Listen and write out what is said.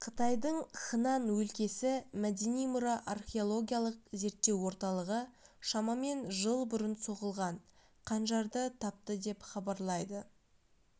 қытайдың хынан өлкесі мәдени мұра археологиялық зерттеу орталығы шамамен жыл бұрын соғылған қанжарды тапты деп хабарлайды